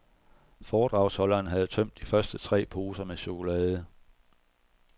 Foredragsholderen havde tømt de første tre poser med chokolade.